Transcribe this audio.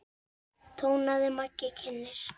tónaði Maggi kynnir.